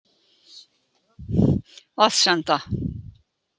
Vatnsenda